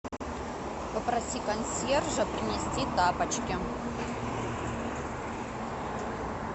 попроси консьержа принести тапочки